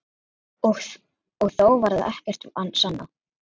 Og þó varð ekkert sannað.